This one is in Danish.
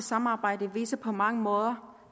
samarbejde viser på mange måder